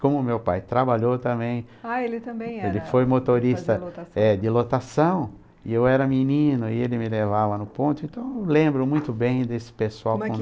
Como meu pai trabalhou também, ah ele também era, ele foi motorista de lotação, e eu era menino, e ele me levava no ponto, então eu lembro muito bem desse pessoal com